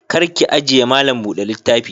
Kar ki ajiye malam bude littafi.